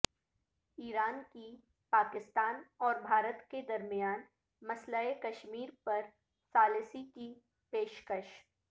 ایران کی پاکستان اور بھارت کے درمیان مسئلہ کشمیر پر ثالثی کی پیش کش